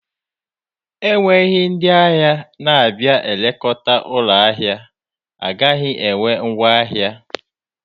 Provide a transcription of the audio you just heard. Enweghị ndị ahịa na-abịa na-elekọta ụlọ ahịa, a gaghị ere ngwaahịa.